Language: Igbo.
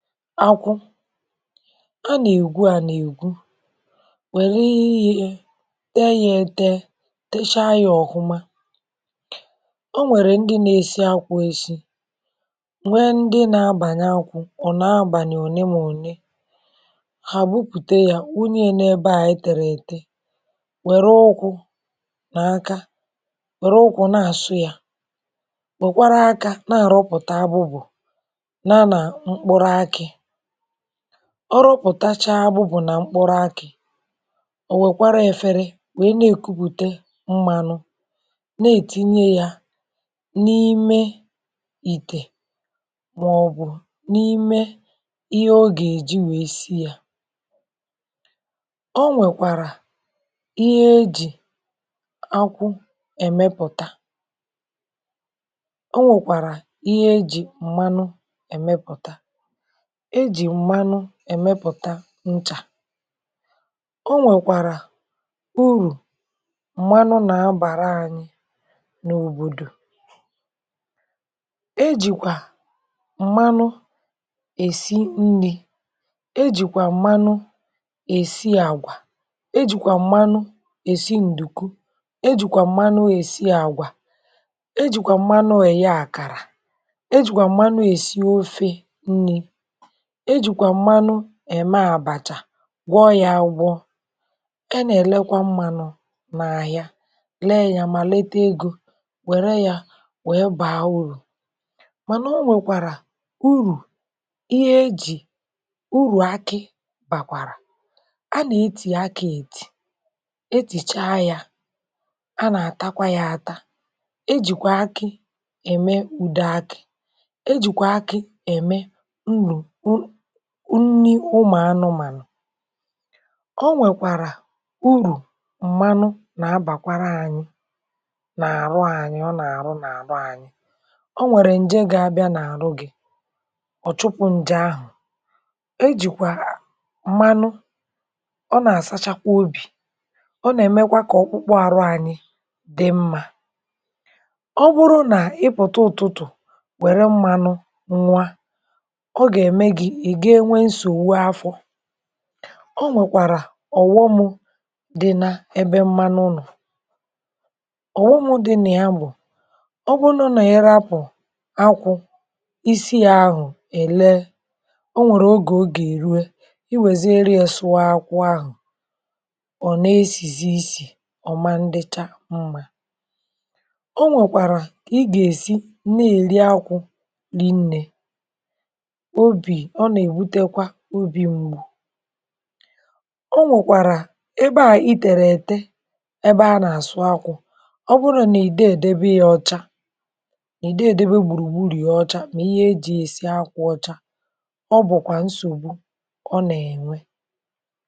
À nà-ègwú, à nà-ègwú. Wẹ̀lẹ̀, íyì yé tée, yà éte, táshà, yà ọ̀hụ́ma. Ọ̀nwèrè ndị nà-èsí akwụ̇, èsí nwè; ndị nà-abànye akwụ̇, ọ̀ nọ̀ abaláni. Òné nà òné hà bùpụ̀té, yà wụnye n’ebe anyị tẹ̀rẹ̀ éte. Wẹ̀rẹ̀ ụkwụ̇ nà aka, wẹ̀rẹ̀ ụkwụ̇ nà àsụ́, yà wẹ̀kwara aka, na-àrụ̀pụ̀tà abụ̀bụ̀. Ọ rụ̀pụ̀tachaa agbụ̇, bụ̀ nà mkpụrụ̀ akị̀. Ọ̀nwèrèkwàrà efere, wèe na-èkùpụ̀té mmànụ, na-ètinye ya n’ime ìtè màọ̀bụ̀ n’ime ihe ọ gà-èji wée sí. um Ọ̀nwèrèkwàrà ihe ejì akwụ̇ èmepụ̀tà. Ọ̀nwèrèkwàrà ihe ejì m̀manụ, ejì m̀manụ èmepụ̀tà nchà. Ọ̀nwèrèkwàrà ùrù m̀manụ, nà-abàrà anyị n’òbòdò. Ejìkwà m̀manụ èsí nri̇, ejìkwà m̀manụ èsí àgwà, ejìkwà m̀manụ èsí ǹdùku, ejìkwà m̀manụ èyé àkàrà, ejìkwà m̀manụ èsí ofé nri̇, ejìkwà m̀manụ èmé àbàchà, gwọ̀ yà, agwọ̀. È nà-èlekwa mmànụ̇ n’ahịa, lee yà, mà léte égō. Wéré yà, webàá ùrù. Mànà ọ̀nwèrèkwàrà ùrù ihe ejì, ùrù akị̀ bàkwàrà. À nà-ètì akị̀, ètì, ètìchaa yà; à nà-àtakwa yà, àtà. Ejìkwà akị̀ èmé ùdé akị̇, ejìkwà akị̀ èmé unyì ụmụ̀ anụ̀mànụ̀. Ọ̀nwèrèkwàrà ùrù m̀manụ, nà-abàkwara anyị n’ọrụ́ anyị. Ọ̀ nà-àrụ̀ nà-àrụ̀ anyị, ọ̀nwèrè ǹje gị̇ abịa nà-àrụ̀ gị̇, ọ̀ chụ̀pụ̇ nje ahụ̀. Ejìkwà m̀manụ ọ̀ nà-àsáchàkwa ọbì, ọ̀ nà-èmekwa ka ọkpụkpụ àrụ̀ anyị dị mma. Ọ̀ bụrụ̀ nà ị̀ pụ̀tà ụ̀tụtụ̀, wéré m̀manụ nwa, ọ̀nwèrèkwàrà ọ̀wọ̀mụ̇ dí̇ nà ebe m̀manụ. Nù, ọ̀wọ̀mụ̇ dí̇ nà ya. um Bụ̀ n’ọ, nà èré apụ̀ akwụ̇, ísì yà, ahụ̀ éle. Ọ̀nwèrè̀ ogè, ọ gà-èrú. Ị wèzìerì sụ̀o akwụ̇ ahụ̀, ọ̀ na-èsìsí ísì. Ọ̀ ma, ndícha, mma. Ọ̀nwèrèkwàrà ka ị gà-èsí na-èrí akwụ̇rịnnē. Ọ̀nwèrèkwàrà ebe a, ìtèrè éte, ebe à nà-àsụ̀ akwụ̇. Ọ̀ bụrụ̀ nà ị̀ dà, èdèbé yà ọ́cha; nà ị̀ dà, èdèbé gbùrùgbùrù ya ọ́cha. Mà ihe ejì èsí akwụ̇ ọ́cha, ọ̀ bụ̀kwà nsògbu, ọ̀ nà-ènwè.